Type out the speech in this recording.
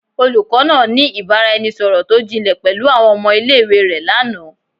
Olukọ naa ni ibaraẹnisọrọ to jinle pẹlu awọn ọmọ ile-iwe rẹ lana